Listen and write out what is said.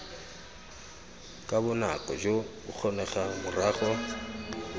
ka bonako jo bokgonegang morago